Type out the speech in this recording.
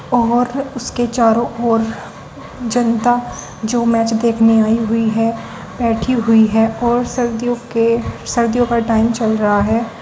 और उसके चारों ओर जनता जो मैच देखने आई हुई है बैठी हुई है और सर्दियों के सर्दियों का टाइम चल रहा है।